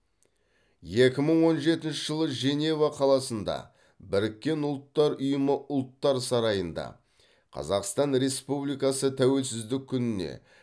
екі мың он жетінші жылы женева қаласында біріккен ұлттар ұйымы ұлттар сарайында қазақстан республикасы тәуелсіздік күніне